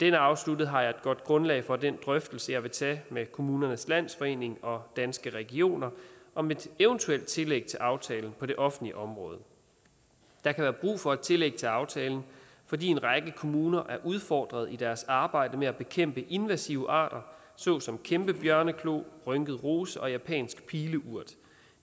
er afsluttet har jeg et godt grundlag for den drøftelse jeg vil tage med kommunernes landsforening og danske regioner om et eventuelt tillæg til aftalen på det offentlige område der kan være brug for et tillæg til aftalen fordi en række kommuner er udfordret i deres arbejde med at bekæmpe invasive arter såsom kæmpebjørneklo rynket rose og japansk pileurt